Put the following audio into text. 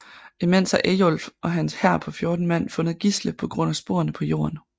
Imens har Eyjolf og hans hær på 14 mand fundet Gisle på grund af sporene på jorden